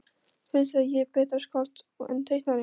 Finnst þér ég betra skáld en teiknari?